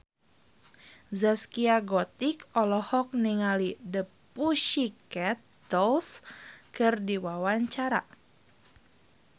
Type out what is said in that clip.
Zaskia Gotik olohok ningali The Pussycat Dolls keur diwawancara